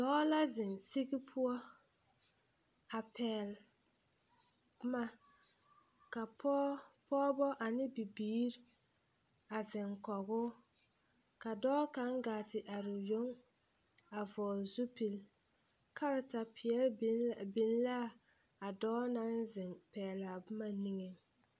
Dɔɔ la zeŋ siɡi poɔ a pɛɡele boma ka pɔɡebɔ ane bibiiri a zeŋkɔɡe o kw dɔɔ kaŋ ɡaa te are o yoŋ a vɔɔle zupil karatapeɛle biŋ la a dɔɔ naŋ zeŋ pɛɡele a boma niŋeŋ.